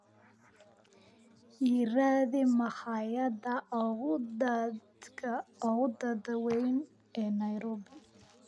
i raadi makhaayadda ugu da'da weyn ee nairobi